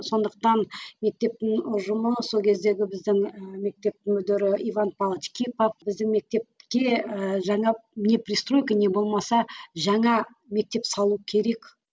сондықтан мектептің ұжымы сол кездегі біздің і мектеп мүдірі иван павлович кипа біздің мектепке і жаңа не пристройка не болмаса жаңа мектеп салу керек